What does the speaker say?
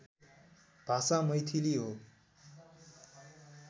भाषा मैथिली हो